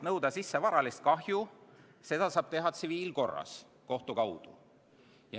Nõuda sisse varalist kahju saab tsiviilkorras kohtu kaudu.